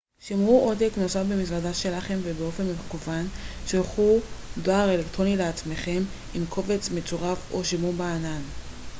"שמרו עותק נוסף במזוודה שלכם ובאופן מקוון שלחו דואר אלקטרוני לעצמכם עם קובץ מצורף או שמרו ב""ענן"".